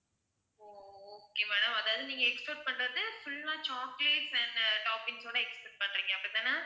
okay madam அதாவது நீங்க expect பண்றது full லா chocolates and toppings ஓட expect பண்றீங்க அப்படி தானே,